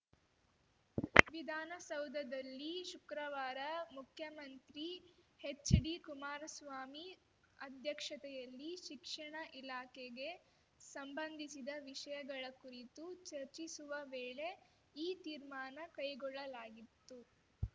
ವಿಧಾನಸೌಧದಲ್ಲಿ ಶುಕ್ರವಾರ ಮುಖ್ಯಮಂತ್ರಿ ಹೆಚ್‌ಡಿಕುಮಾರಸ್ವಾಮಿ ಅಧ್ಯಕ್ಷತೆಯಲ್ಲಿ ಶಿಕ್ಷಣ ಇಲಾಖೆಗೆ ಸಂಬಂಧಿಸಿದ ವಿಷಯಗಳ ಕುರಿತು ಚರ್ಚಿಸುವ ವೇಳೆ ಈ ತೀರ್ಮಾನ ಕೈಗೊಳ್ಳಲಾಗಿತ್ತು